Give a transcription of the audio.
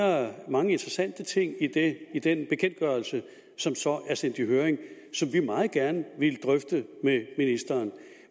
mange interessante ting i den bekendtgørelse som som er sendt i høring som vi meget gerne ville drøfte med ministeren